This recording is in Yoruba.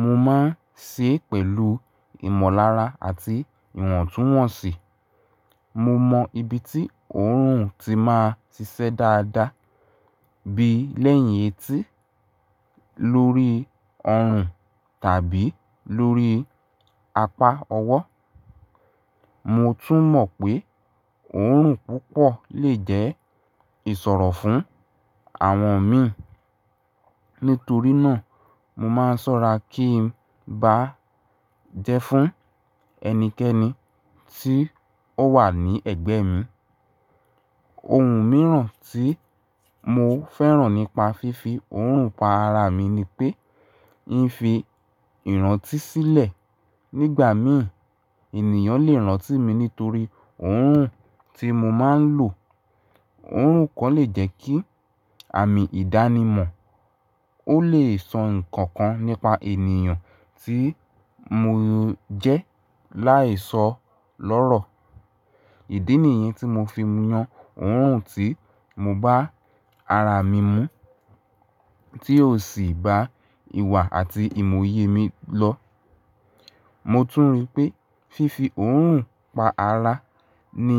Mo máa ń ṣe é pẹ̀lú ìmọ̀lára àti ìwọ̀ntúnwọ̀nsì. Mo mọ ibi tí òórùn tí máa si ṣẹ́ dáadáa, bí lẹ́yìn etí, lórí ọrùn tàbí lórí apá ọwọ́. Mo tún mọ̀ pé òórùn púpọ̀ lè jẹ́ ìsọ̀rọ̀ fún àwọn mi. Nítorí náà, mo máa ń ṣọ́ra kí n bá jẹ́ fún ẹnikẹ́ni tí ó wà ní ẹ̀gbẹ́ mi. Ohun mìíràn tí mo fẹ́ràn nípa fífi òórùn pa ara mi ni pé ń fi ìrántí sílẹ̀. Nígbà mìíràn ènìyàn lè rántí mi nítorí òórùn tí mo máa ń lò. Òórùn kàn lè jẹ́ kí àmì ìdánimọ̀. Ó lè sọ ǹkan kan nípa ènìyàn tí mo jẹ́ láì sọ lọ́rọ̀. Ìdí nìyẹn tí mo fi ń yan òórùn tí mo bá ara mi mú tí yóò sì bá ìwà àti ìmòye mi lọ. Mo tún rí pé fífi òórùn pa ara ni